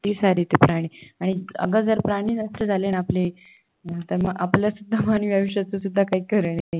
ती सारी ती प्राणी आणि गजर प्राणी जास्त झालेय आणि आपले आपलंसुद्धा मानवी आयुष्याचं काही खरं नाही